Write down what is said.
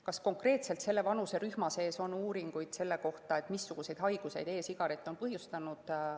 Kas konkreetselt selle vanuserühma seas on tehtud uuringuid selle kohta, missuguseid haigusi e‑sigaret on põhjustanud?